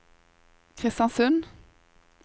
Kristiansund